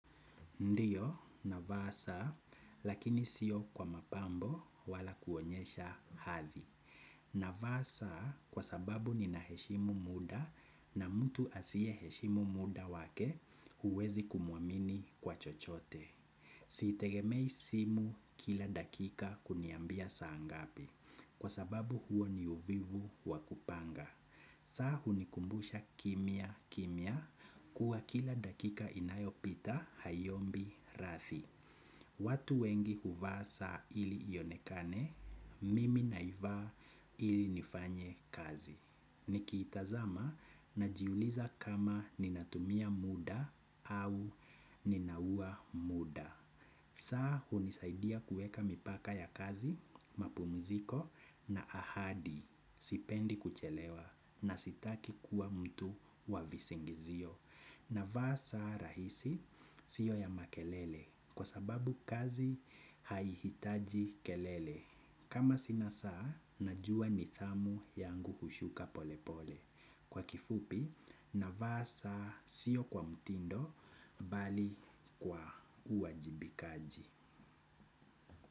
Ndiyo, navaa saa, lakini sio kwa mapambo wala kuonyesha hadhi. Navaa saa, kwa sababu ninaheshimu muda na mtu asiyeheshimu muda wake, uwezi kumwamini kwa chochote. Sitegemei simu kila dakika kuniambia saa ngapi, kwa sababu huo ni uvivu wa kupanga. Saa hunikumbusha kimya kimya kuwa kila dakika inayopita haiombi rathi. Watu wengi huvaa saa ili ionekane, mimi naivaa ili nifanye kazi. Nikiitazama najiuliza kama ninatumia muda au ninaua muda. Saa unisaidia kueka mipaka ya kazi, mapumziko na ahadi, sipendi kuchelewa na sitaki kuwa mtu wa visingizio. Navaa saa rahisi, sio ya makelele, kwa sababu kazi haihitaji kelele. Kama sina saa, najua nithamu yangu hushuka pole pole. Kwa kifupi navaa saa siyo kwa mtindo bali kwa uwajibikaji.